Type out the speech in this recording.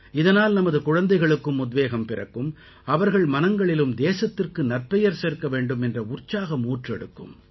இதனால் நமது குழந்தைகளுக்கும் உத்வேகம் பிறக்கும் அவர்கள் மனங்களிலும் தேசத்திற்கு நற்பெயர் சேர்க்க வேண்டும் என்ற உற்சாகம் ஊற்றெடுக்கும்